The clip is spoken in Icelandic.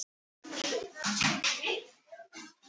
sagði Abba hin, sem kom hlaupandi upp stigann.